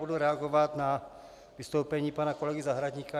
Budu reagovat na vystoupení pana kolegy Zahradníka.